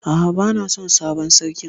A'a bana son sabon sarkin.